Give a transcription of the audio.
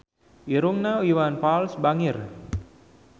Irungna Iwan Fals bangir